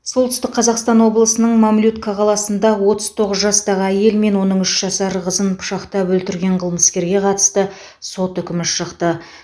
солтүстік қазақстан облысының мамлютка қаласында отыз тоғыз жастағы әйел мен оның үш жасар қызын пышақтап өлтірген қылмыскерге қатысты сот үкімі шықты